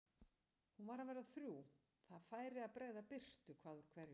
Hún var að verða þrjú, það færi að bregða birtu hvað úr hverju.